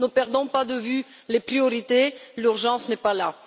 Ne perdons pas de vue les priorités l'urgence n'est pas là.